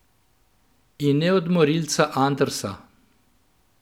In ne od Morilca Andersa.